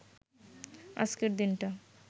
আজকের দিনটা